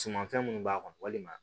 Sumanfɛn minnu b'a kɔnɔ walima